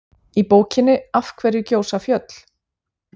Í bókinni Af hverju gjósa fjöll?